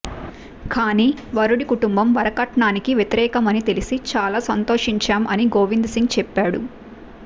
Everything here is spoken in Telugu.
కానీ వరుడి కుటుంబం వరకట్నానికి వ్యతిరేకమని తెలిసి చాలా సంతోషించాం అని గోవింద్ సింగ్ చెప్పాడు